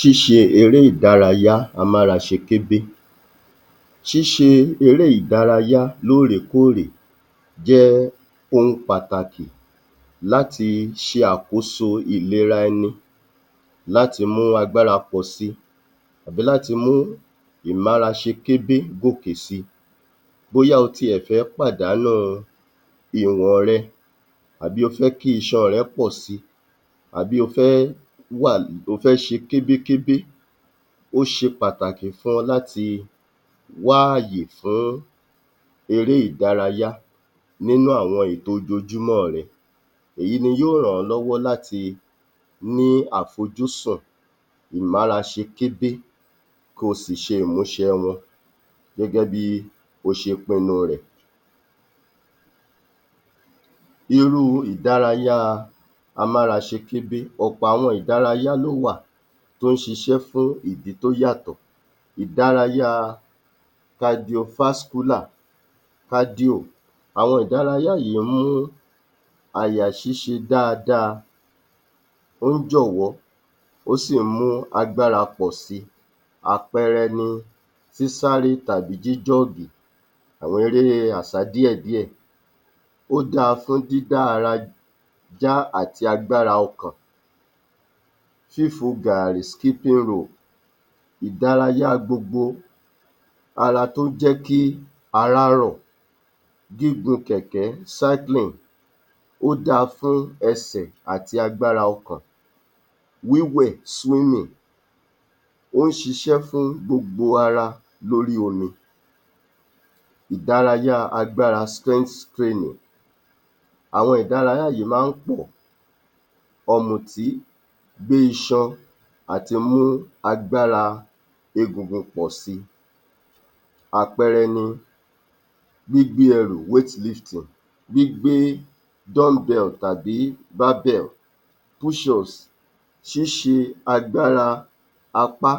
Ṣíṣe eré ìdárayá amáraṣekébé Ṣíṣe eré ìdárayá lóórèkóòrè jẹ́ ohun pàtàkì láti ṣe àkóso ìléra ẹni láti mú agbára pọ̀si tàbí láti mú ìmáraṣekébé gòkè si. Bóyá o tiẹ̀ fẹ́ pàdánù ìwọ̀n rẹ àbí o fẹ́ kí iṣan rẹ pọ̀ si àbí o fẹ́ wà o fẹ́ ṣe kébékébé ó ṣe pàtàkì fún ọ láti wá àyè fún eré ìdárayá nínú àwọn ètò ojoojúmọ́ rẹ. Èyí ni yóò ràn ọ́ lọ́wọ́ láti ní àfojúsùn ìmáraṣekébé kó o sì ṣe ìmúṣẹ wọn gẹ́gẹ́ bí o ṣe pinu rẹ̀. Irú ìdárayá amáraṣekébé Ọ̀pọ̀ àwọn ìdárayá ló wà tó ń ṣiṣẹ́ fún ìdí tó yàtọ̀ Ìdárayá (cardio-vascular) kádíò: àwọn ìdárayá yìí mú àyà ṣiṣẹ́ dáadáa, ó ń jọ̀wọ́, ó sì ń mú agbára pọ̀ si. Àpẹẹrẹ ni sísáré tàbí jíjọ́ọ̀gì, àwọn erée àsádíẹ̀díẹ̀. Ó dáa fún dídá ara yá àti agbára ọkàn. Fífò gààrì (skipping rope): ìdárayá gbogbo ara tó jẹ́ kí ara rọ̀. Gígùn kẹ̀kẹ́ (cycling): ó da fún ẹsẹ̀ àti agbára ọkàn. Wíwẹ̀ (swimming): ó ń ṣiṣẹ́ fún gbogbo ara lórí omi. Ìdárayá agbára ( training): àwọn ìdárayá yìí máa ń pọ̀. Ọ̀mùtí gbé iṣan àtimú agbára egungun pọ̀ si. Àpẹẹrẹ ni gbígbé ẹrù (weightlifting), gbígbé dumbbell tàbí barbell, pushups, ṣiṣẹ́ agbára apá